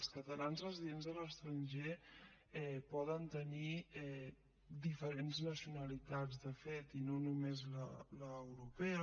els catalans residents a l’estranger poden tenir diferents nacionalitats de fet i no només l’europea